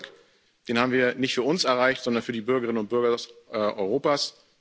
Diesen Erfolg haben wir nicht für uns erreicht, sondern für die Bürgerinnen und Bürger Europas.